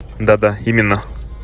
да-да именно